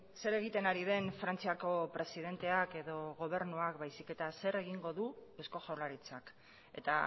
zer egiten ari den frantziako presidenteak edo gobernuak baizik eta zer egingo du eusko jaurlaritzak eta